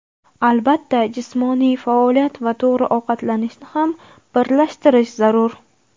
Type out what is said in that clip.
Albatta, jismoniy faoliyat va to‘g‘ri ovqatlanishni ham birlashtirish zarur.